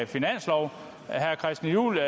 finanslov herre christian juhl